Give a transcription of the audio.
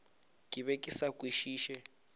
ke be ke sa kwešiše